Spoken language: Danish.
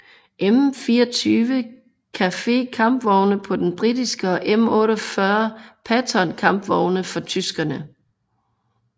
M24 Chaffee kampvogne på den britiske og M48 Patton kampvogne for tyskerne